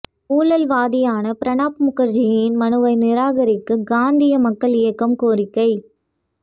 ஊழல்வாதியான பிரணாப் முகர்ஜியின் மனுவை நிராகரிக்க காந்தீய மக்கள் இயக்கம் கோரிக்கை